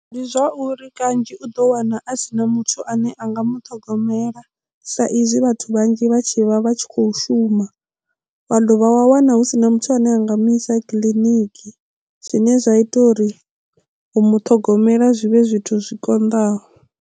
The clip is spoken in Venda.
Ndi zwauri kanzhi u ḓo wana a si na muthu ane a nga muṱhogomela sa izwi vhathu vhanzhi vha tshi vha vha tshi khou shuma wa dovha wa wana hu si na muthu ane a nga mu isa kiḽiniki zwine zwa ita uri u muṱhogomela zwivhe zwithu zwi konḓaho.